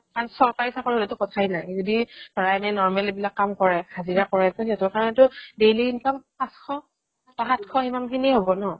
আৰু চৰকাৰি চাকৰি হ'লেটো কথা নাই যদি ধৰা normal এইবিলাক কাম কৰে হাজিৰা কৰে সিহতৰ কাৰণেটো daily income পাশ বা ইমান খিনিয়ে হ'ব ন